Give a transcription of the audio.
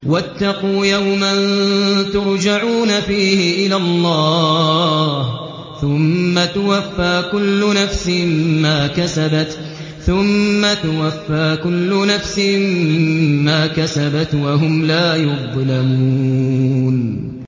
وَاتَّقُوا يَوْمًا تُرْجَعُونَ فِيهِ إِلَى اللَّهِ ۖ ثُمَّ تُوَفَّىٰ كُلُّ نَفْسٍ مَّا كَسَبَتْ وَهُمْ لَا يُظْلَمُونَ